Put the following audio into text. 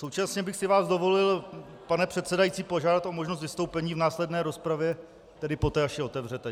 Současně bych si vás dovolil, pane předsedající, požádat o možnost vystoupení v následné rozpravě, tedy poté, až ji otevřete.